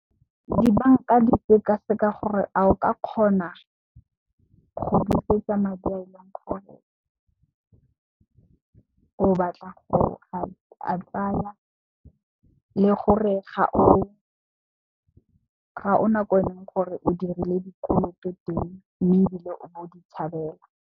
Dibanka di sekaseka gore a o ka kgona go busetsa madi a e leng gore o batla go a tsaya le gore ga o na ko o eleng gore o dirile dikoloto teng mme, ebile o ne o di tshabela.